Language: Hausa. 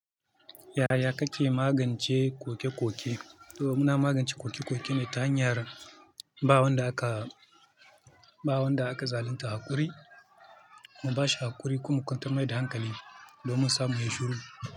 Yaya kake magance koke-koke? Domin na magance koke-koke ne ta hanyar ba wanda aka, ba wanda aka zalunta haƙuri, mu bashi haƙuri kuma mu kwantar mai da hankali domin samun yin shiru.